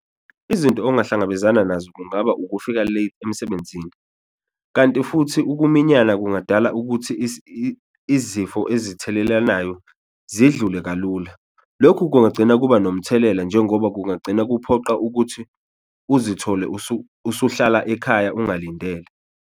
Izinto ongahlangabezana nazo kungaba ukufika late emsebenzini kanti futhi ukuminyana kungadala ukuthi izifo ezithelelanayo zidlule kalula. Lokhu kungagcina kuba nomthelela njengoba kungagcina kuphoqa ukuthi uzithole usuhlala ekhaya ungalindele.